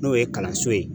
N'o ye kalanso ye